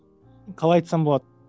қалай айтсам болады